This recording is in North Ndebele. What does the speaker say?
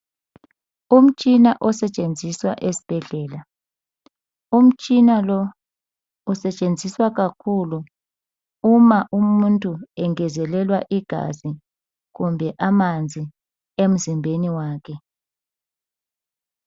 Umtshina osetshenziswa esibhedlela. Umtshina lo usetshenziswa kakhulu uma umuntu engezelelwa igazi kumbe amanzi emzimbeni wakhe.